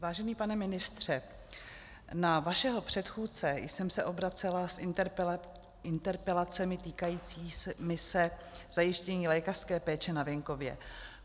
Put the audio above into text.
Vážený pane ministře, na vašeho předchůdce jsem se obracela s interpelacemi týkajícími se zajištění lékařské péče na venkově.